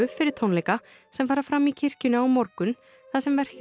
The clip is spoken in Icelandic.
fyrir tónleika sem fara fram í kirkjunni á morgun þar sem verkið